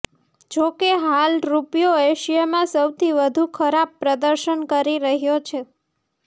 જો કે હાલ રૂપિયો એશિયામાં સૌથી વધુ ખરાબ પ્રદર્શન કરી રહ્યો છે